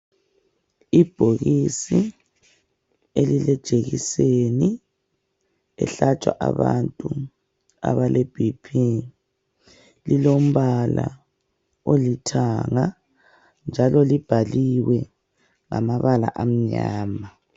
Ibhokisi elilejekiseni ehlatshwa abantu abaleBP. Lilombala olithanga njalo libhaliwe ngamabala amnyama.